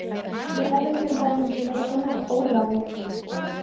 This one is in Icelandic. Ég hefði til dæmis viljað kynnast Ólafi